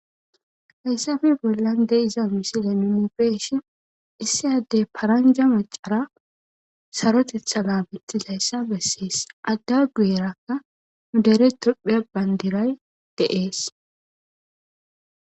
Hayssafi bollan de iza misile numibeshin issi addey paranja macara sarotetha la mittizayssa bessees adda guyerakka mudere tuphea bandiray deees.